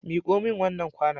Miko min wannan kwanon.